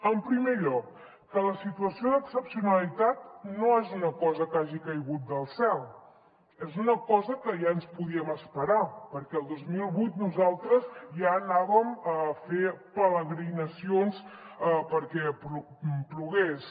en primer lloc que la situació d’excepcionalitat no és una cosa que hagi caigut del cel és una cosa que ja ens podíem esperar perquè el dos mil vuit nosaltres ja anàvem a fer peregrinacions perquè plogués